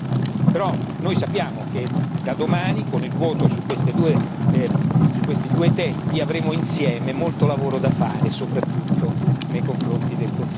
Però, noi sappiamo che da domani con il voto su questi due testi avremo insieme molto lavoro da fare, soprattutto nei confronti del Consiglio.